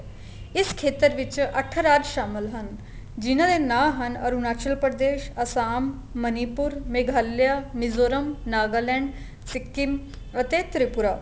ਇਸ ਖੇਤਰ ਵਿੱਚ ਅੱਠ ਰਾਜ ਸ਼ਾਮਲ ਹਨ ਜਿੰਨਾ ਦੇ ਨਾ ਹਨ ਅਰੂਣਾਚਲ ਪ੍ਰਦੇਸ਼ ਆਸਾਮ ਮਨੀਪੁਰ ਮੇਗਾਲਿਆ ਮਿਜੁਰਮ ਨਾਗਾਲੈੰਡ ਸਿਕਿਮ ਅਤੇ ਤਰਿਪੁਰਾ